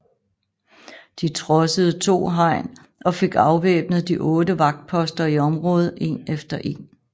De trodsede to hegn og fik afvæbnet de otte vagtposter i området en efter en